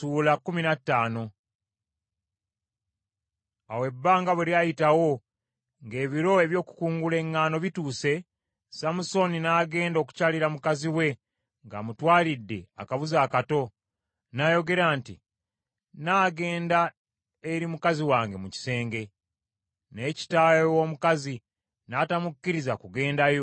Awo ebbanga bwe lyayitawo, ng’ebiro eby’okukungula eŋŋaano bituuse, Samusooni n’agenda okukyalira mukazi we ng’amutwalidde akabuzi akato. N’ayogera nti, “Nnaagenda eri mukazi wange mu kisenge.” Naye kitaawe w’omukazi n’atamukkiriza kugenda yo .